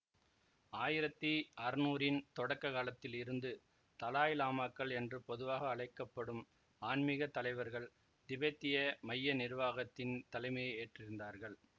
ஆயிரத்தி அறநூறின் தொடக்க காலத்தில் இருந்து தலாய் லாமாக்கள் என்று பொதுவாக அழைக்க படும் ஆன்மீக தலைவர்கள் திபெத்திய மைய நிருவாகத்தின் தலைமையை ஏற்றிருந்தார்கள்